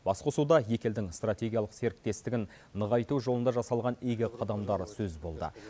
басқосуда екі елдің стратегиялық серіктестігін нығайту жолында жасалған игі қадамдар сөз болды